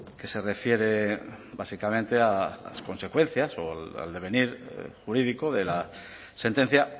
que se refiere básicamente a las consecuencias o al devenir jurídico de la sentencia